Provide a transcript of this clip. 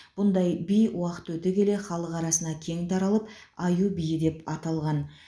бұндай би уақыт өте келе халық арасына кең таралып аю биі деп аталған